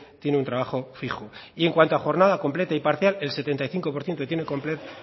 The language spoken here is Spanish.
tiene un trabajo fijo y en cuanto a jornada completa y parcial el setenta y cinco por ciento tiene